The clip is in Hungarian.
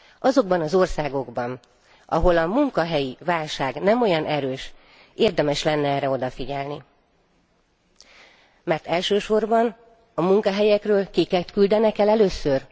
Azokban az országokban, ahol a munkahelyi válság nem olyan erős, érdemes lenne erre odafigyelni, mert elsősorban a munkahelyekről kiket küldenek el először?